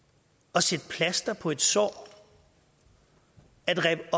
at sætte plaster på et sår at rippe